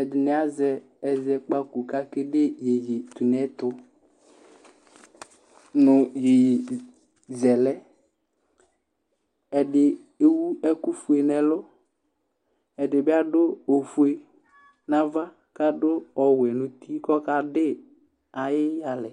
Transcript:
ɛdɩnɩ azɛ ɛzɛkpako kʋ akede iyeye tʋ nʋ ɛtʋ nʋ iyeye zɛ lɛ, ɛdɩ ewu ɛkʋfue nʋ ɛlʋ, ɛdɩ bɩ adʋ ofue nʋ ava, kʋ adʋ ɔwɛ nʋ uti, kʋ ɔkadɩ ayʋ ɩyalɛ